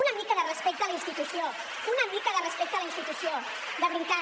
una mica de respecte a la institució una mica de respecte a la institució de veritat